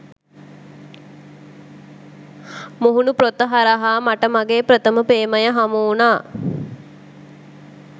මුහුණු පොත හරහා මට මගේ ප්‍රථම ප්‍රේමය හමු උනා